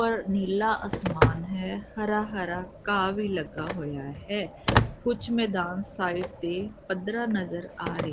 ਉੱਪਰ ਨੀਲਾ ਅਸਮਾਨ ਹੈ ਹਰਾ ਹਰਾ ਘਾਹ ਵੀ ਲਗਾ ਹੋਇਆ ਹੈ ਕੁੱਝ ਮੈਦਾਨ ਸਾਇਡ ਤੇ ਪਦਰਾ ਨਜ਼ਰ ਆ--